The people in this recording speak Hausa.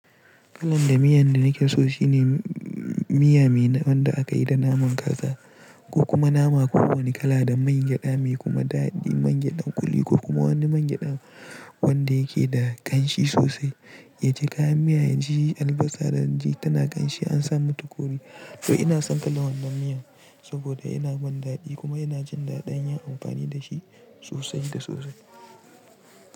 Kalan miyan da nake so shine miya mai wanda aka yi da naman kaka ko kuma nama kowane kala da man gyada mai kuma dadi, man gyadan kuli ko kuma wani man gyada wanda yake da ƙanshi sosai. Yaji kayan miya yaji albasa, da yaji tana ƙanshi an sa mata kori. To ina son kalan wannan miyan saboda yana ban dadi kuma ina jin dadin yin amfani da shi. Sosai da sosai.